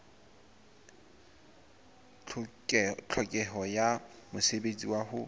tlhokeho ya mosebetsi wa ho